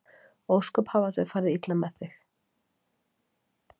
Ósköp hafa þau farið illa með þig.